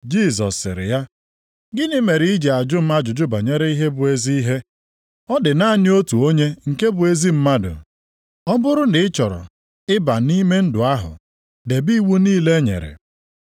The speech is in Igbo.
Jisọs sịrị ya, “Gịnị mere i ji ajụ m ajụjụ banyere ihe bụ ezi ihe? Ọ dị naanị otu onye nke bụ ezi mmadụ. Ọ bụrụ na ị chọrọ ịba nʼime ndụ ahụ, debe iwu niile e nyere.”